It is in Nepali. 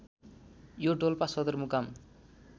यो डोल्पा सदरमुकाम